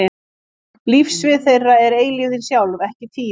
Lífssvið þeirra er eilífðin sjálf, ekki tíminn.